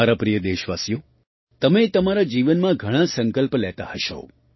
મારા પ્રિય દેશવાસીઓ તમે તમારા જીવનમાં ઘણા સંકલ્પ લેતા હશો